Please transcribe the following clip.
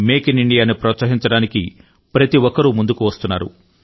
make in ఇండియాను ప్రోత్సహించడానికి ప్రతి ఒక్కరూ ముందుకు వస్తున్నారు